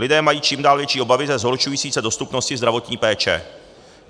Lidé mají čím dál větší obavy ze zhoršující se dostupnosti zdravotní péče.